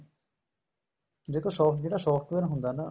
ਦੇਖੋ soft ਜਿਹੜਾ software ਹੁੰਦਾ ਨਾ